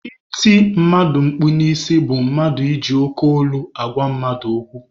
Iti mmadụ mkpu n'isi bụ mmadụ iji oke olu agwa mmadụ okwu.